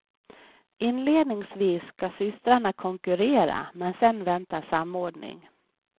Inledningsvis ska systrarna konkurrera men sedan väntar samordning.